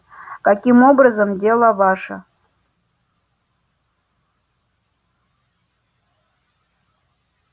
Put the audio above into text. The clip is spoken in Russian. каким образом дело ваше